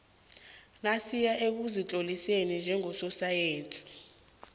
nasiya ekuzitloliseni njengososayensi